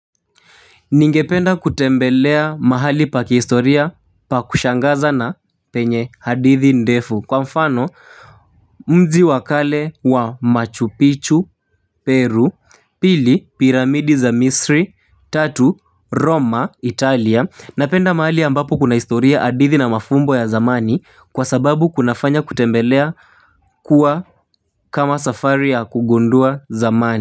Ningependa kutembelea mahali pa kihistoria pa kushangaza na penye hadithi ndefu kwa mfano mji wa kale wa Machu Picchu Peru pili piramidi za misri, tatu roma Italia napenda mahali ambapo kuna historia hadithi na mafumbo ya zamani kwa sababu kunafanya kutembelea kuwa kama safari ya kugundua zamani.